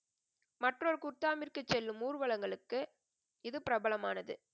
மற்றொரு குர்தாமிற்கு செல்லும் ஊர்வலங்களுக்கு இது பிரபலமானது.